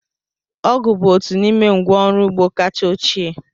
Ọgụ̀ bụ otu n'ime ngwa ọrụ ugbo kacha ochie.